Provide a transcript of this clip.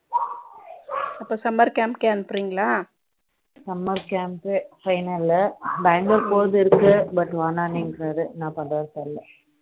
அப்போ summer camp கே அனுப்பறீங்களா Summer camp final லு பெங்களூர் போறது இருக்கு but வேணாம் இங்குறரு என்ன பன்றாருனு தெரியல